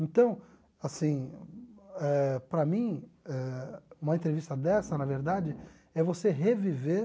Então, assim eh, para mim eh, uma entrevista dessa, na verdade, é você reviver